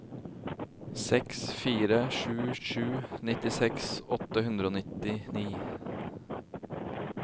seks fire sju sju nittiseks åtte hundre og nittini